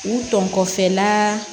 U tɔ kɔfɛla